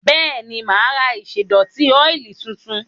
Bẹ́ẹ̀ni, mà á ra ìṣẹ́dọ̀tí ọ́ìlì tuntun?